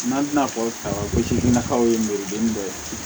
N'an tina fɔ kaban ko se nakaw ye meriden dɔ ye